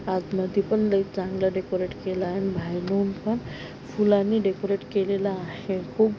आत मधी पण लय चांगल डेकोरेट केल आहे आणि बाहेरून पण फुलांनी डेकोरेट केलेलं आहे खूप--